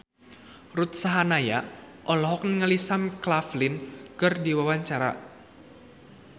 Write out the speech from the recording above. Ruth Sahanaya olohok ningali Sam Claflin keur diwawancara